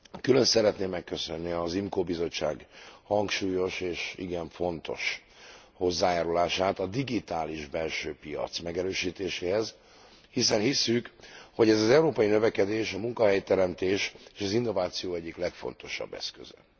Külön szeretném megköszönni az IMCO Bizottság hangsúlyos és igen fontos hozzájárulását a digitális belső piac megerősítéséhez, hiszen hisszük, hogy ez az európai növekedés a munkahelyteremtés és az innováció egyik legfontosabb eszköze.